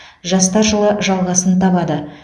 жастар жылы жалғасын табады